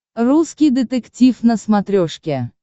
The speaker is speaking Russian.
русский детектив на смотрешке